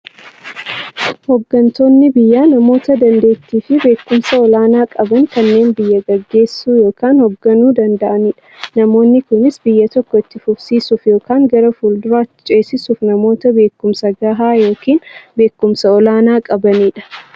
Hooggantoonni biyyaa namoota daanteettiifi beekumsa olaanaa qaban, kanneen biyya gaggeessuu yookiin hoogganuu danda'aniidha. Namoonni kunis, biyya tokko itti fufsiisuuf yookiin gara fuulduraatti ceesisuuf, namoota beekumsa gahaa yookiin beekumsa olaanaa qabaniidha.